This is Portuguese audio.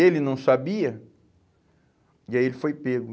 Ele não sabia e aí ele foi pego.